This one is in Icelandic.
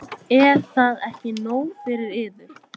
Er það ekki nóg fyrir yður?